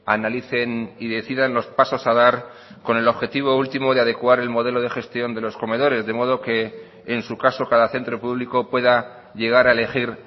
analicen y decidan los pasos a dar con el objetivo último de adecuar el modelo de gestión de los comedores de modo que en su caso cada centro público pueda llegar a elegir